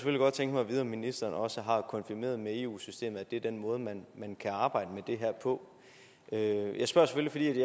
tænke mig at vide om ministeren også har konfirmeret med eu systemet det er den måde man kan arbejde med det her på jeg spørger selvfølgelig